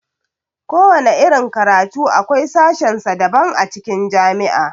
Kowana irin karatu akwai sashen sa daban a cikin jami'a.